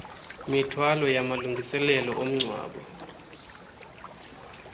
mithwalo yamalungiselelo omngcwabo